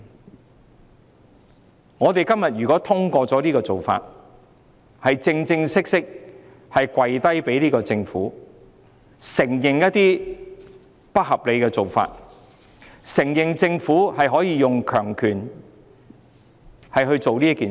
如果我們今天通過這種做法，便是向這個政府正式跪低，承認一些不合理的做法，承認政府可以用強權來做任何事。